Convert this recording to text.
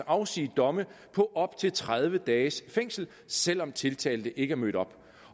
afsige domme på op til tredive dages fængsel selv om tiltalte ikke mødte op